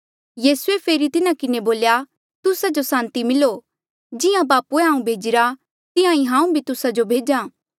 यीसूए फेरी तिन्हा किन्हें बोल्या तुस्सा जो सांति मिलो जिहां बापूए हांऊँ भेजिरा तिहां ईं हांऊँ भी तुस्सा जो भेज्हा